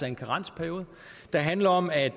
en karensperiode der handler om at